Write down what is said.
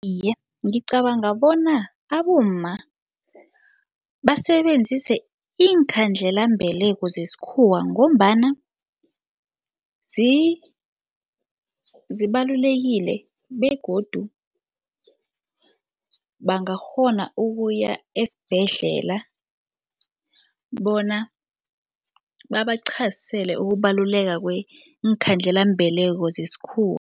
Iye, ngicabanga bona abomma basebenzise iinkhandelambeleko zesikhuwa ngombana zibalulekile begodu bangakghona ukuya esibhedlela bona babaqhazisele ukubaluleka kweekhandelambeleko zesikhuwa.